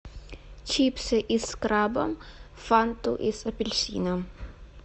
чипсы из краба фанту из апельсина